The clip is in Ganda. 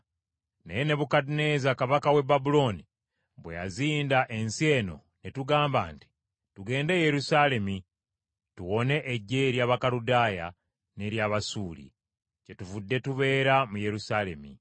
Naye Nebukadduneeza kabaka w’e Babulooni bwe yazinda ensi eno ne tugamba nti, ‘Tugende e Yerusaalemi tuwone eggye ery’Abakaludaaya n’ery’Abasuuli,’ kyetuvudde tubeera mu Yerusaalemi.”